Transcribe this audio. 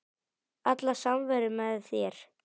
Alla samveru með þér.